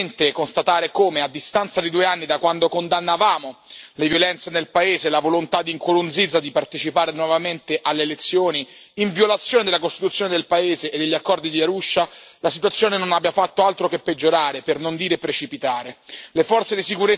Mi addolora enormemente constatare come, a distanza di due anni da quando condannavamo le violenze nel paese e la volontà di Nkurunziza di partecipare nuovamente alle elezioni, in violazione della Costituzione del paese e degli accordi di Arusha, la situazione non abbia fatto altro che peggiorare, per non dire precipitare.